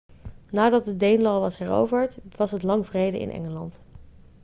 nadat de danelaw was heroverd was het lang vrede in engeland